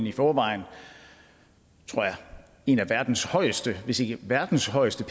i forvejen er en af verdens højeste hvis ikke verdens højeste